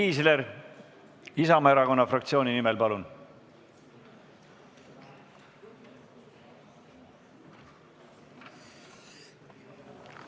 Siim Kiisler Isamaa Erakonna fraktsiooni nimel, palun!